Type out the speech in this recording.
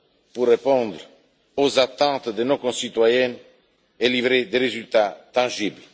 pour répondre aux attentes de nos concitoyens et livrer des résultats tangibles.